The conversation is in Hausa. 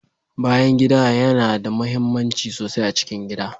Bayan gida yana da muhimmanci sosai a cikin gida.